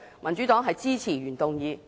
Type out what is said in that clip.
民主黨支持原議案。